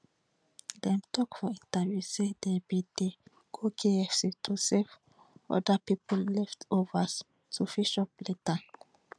dem tok for interviews say dem bin dey go kfc to save oda pipo leftovers to fit chop later